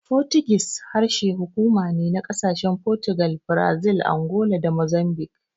Fotigis harshen hukuma ne na ƙasashen Fotugal, Brazil, Angola da Mozambik.